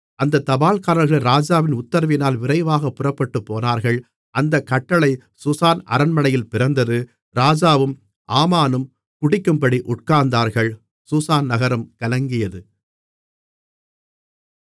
அந்த தபால்காரர்கள் ராஜாவின் உத்திரவினால் விரைவாகப் புறப்பட்டுப்போனார்கள் அந்தக் கட்டளை சூசான் அரண்மனையில் பிறந்தது ராஜாவும் ஆமானும் குடிக்கும்படி உட்கார்ந்தார்கள் சூசான் நகரம் கலங்கியது